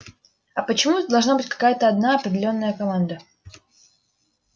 а почему это должна быть какая-то одна определённая команда